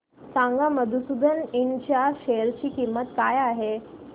सांगा मधुसूदन इंड च्या शेअर ची किंमत काय आहे